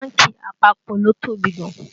Bánkì àpapọ̀ ló tóbi gan